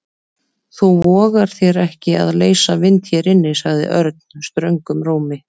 Þú vogar þér ekki að leysa vind hér inni sagði Örn ströngum rómi.